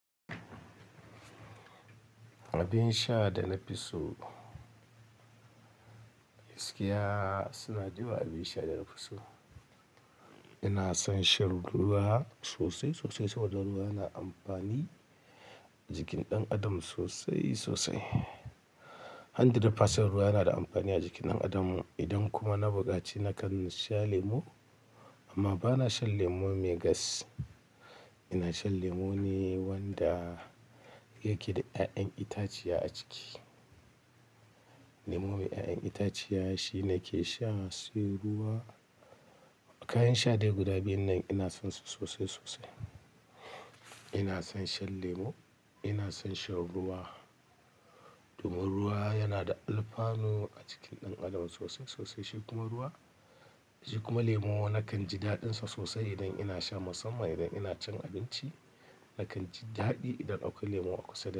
Abin sha da na fi so, gaskiya suna da yawa abin sha da na fi so. Ina son shan ruwa sosai, sosai saboda ruwa yana amfani jikin ɗan adam sosai, sosai. Hundred percent ruwa yana da amfani a jikin ɗan adam. Idan kuma na buƙaci nakan sha lemo amma bana shan lemo mai gas. Ina shan lemo ne wanda yake da 'ya'yan itaciya a ciki. Lemo mai 'ya'yan itaciya shi nake sha, sai ruwa. Kayan sha dai guda biyun nan ina son su sosai, sosai. Ina son shan lemo, ina son shan ruwa domin ruwa yana da alfanu a cikin ɗan adam sosai, sosai. Shi kuma ruwa, shi kuma lemo nakan ji daɗin sa sosai idan ina sha musamman idan ina cin abinci. Nakan ji daɗi idan akwai lemo a kusa da.